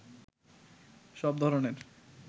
সব ধরনের